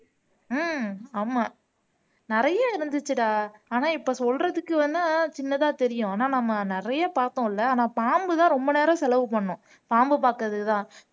ஹம் ஆமா நிறைய இருந்துச்சுடா ஆனா இப்ப சொல்றதுக்கு வேணா சின்னதா தெரியும் ஆனா நம்ம நிறைய பார்த்தோம்ல ஆனா பாம்புதான் ரொம்ப நேரம் செலவு பண்ணும் பாம்பு பாக்கறதுதான்